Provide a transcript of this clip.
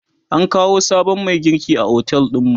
an kawo sabon Mai girki a otel ɗinmu